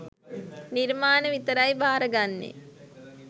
නිර්මාණ විතරයි බාර ගන්නේ